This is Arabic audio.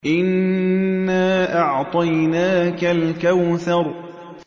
إِنَّا أَعْطَيْنَاكَ الْكَوْثَرَ